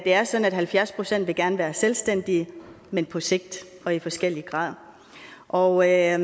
er sådan at halvfjerds procent gerne vil være selvstændige men på sigt og i forskellig grad og jeg